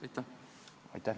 Aitäh!